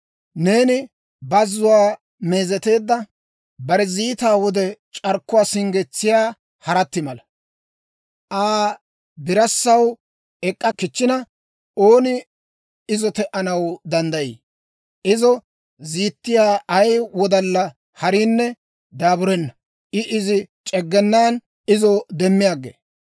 Neeni bazzuwaa meezeteedda, bare ziitaa wode c'arkkuwaa singgetsiyaa harati mala. Aa birassaw ek'k'a kichchina, ooni izo te"anaw danddayii? Izo ziittiyaa ay wodalla hariinne daaburenna; I izi c'eggenan izo demmi aggee.